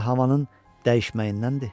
Bəlkə də havanın dəyişməyindəndir.